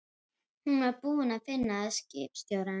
Hún var búin að finna skipstjórann.